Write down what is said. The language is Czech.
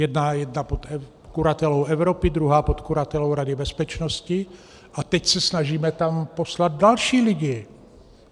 Jedna pod kuratelou Evropy, druhá pod kuratelou Rady bezpečnosti a teď se snažíme tam poslat další lidi.